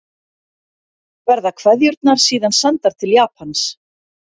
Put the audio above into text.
Verða kveðjurnar síðan sendar til Japans